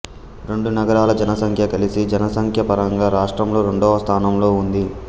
రెండు నగరాల జనసంఖ్య కలిసి జనసంఖ్యాపరంగా రాష్ట్రంలో రెండవ స్థానంలో ఉంది